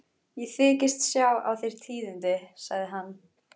Ég þykist sjá á þér tíðindi, sagði hann.